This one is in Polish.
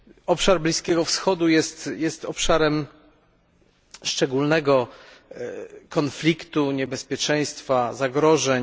Obszar Bliskiego Wschodu jest obszarem szczególnego konfliktu, niebezpieczeństwa, zagrożeń.